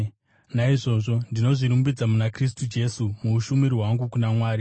Naizvozvo ndinozvirumbidza muna Kristu Jesu muushumiri hwangu kuna Mwari.